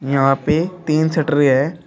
यहां पे तीन शटर है।